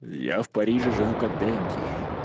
я в париже живу как денди